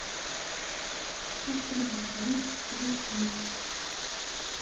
открой на тв передачу мульт